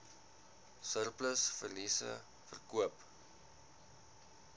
surplus verliese verkoop